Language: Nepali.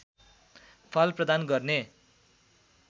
फल प्रदान गर्ने